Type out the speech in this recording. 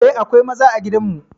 Eh, akwai maza a gidan mu.